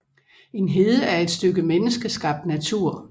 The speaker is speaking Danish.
En hede er et stykke menneskeskabt natur